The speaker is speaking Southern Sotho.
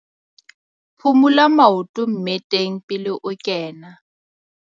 Phumula maoto mmeteng pele o kena.